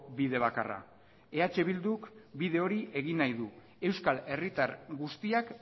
bide bakarra eh bilduk bide hori egin nahi du euskal herritar guztiak